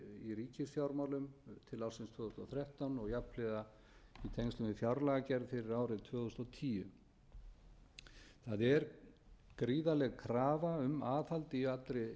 í ríkisfjármálum til ársins tvö þúsund og þrettán og jafnhliða í tengslum við fjárlagagerð fyrir árið tvö þúsund og tíu það er gríðarleg krafa um aðhald í allri